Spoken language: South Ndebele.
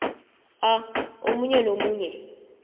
a omunye nomunye